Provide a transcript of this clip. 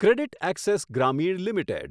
CreditAccess Grameen limited